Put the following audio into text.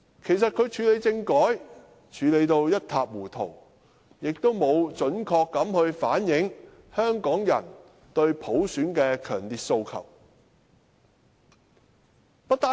其實，他在處理政改一事上做得一塌糊塗，亦沒有準確反映香港人對普選的強烈訴求。